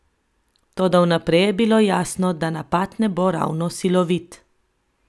Toda vnaprej je bilo jasno, da napad ne bo ravno silovit.